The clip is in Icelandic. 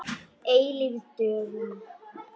Eilíf dögun.